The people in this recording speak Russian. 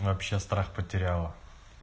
вообще страх потеряла